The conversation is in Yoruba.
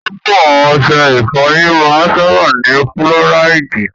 Púpọ̀ ọṣẹ ìfọyín máa ń sábáà ní fúlọ́ráìdì.